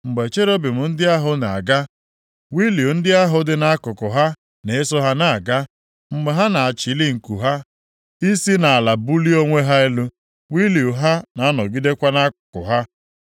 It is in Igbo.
Mgbe cherubim ndị ahụ na-aga, wịịlu ndị ahụ dị nʼakụkụ ha na-eso ha na-aga. Mgbe ha na-achili nku ha i si nʼala bulie onwe ha elu, wịịlu ha na-anọgidekwa nʼakụkụ ha.